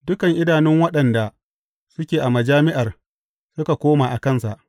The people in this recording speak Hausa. Dukan idanun waɗanda suke a majami’ar, suka koma a kansa.